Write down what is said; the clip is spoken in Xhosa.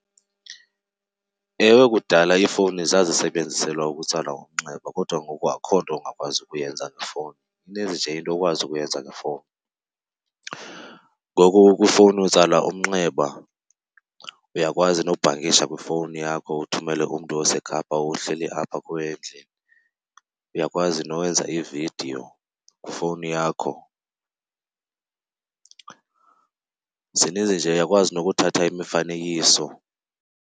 Ewe, kudala iifowuni zazisebenziselwa ukutsala umnxeba kodwa ngoku akukho nto ungakwazi ukuyenza ngefowuni. Ininzi nje into okwazi ukuyenza ngefowuni. Ngoku kwifowuni utsala umnxeba, uyakwazi nokubhankisha kwifowuni yakho uthumele umntu oseKapa uhleli apha kuwe endlini. Uyakwazi nokwenza iividiyo kwifowuni yakho. Zininzi nje uyakwazi nokuthatha imifanekiso.